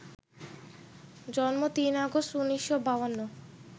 জন্ম ৩ আগস্ট ১৯৫২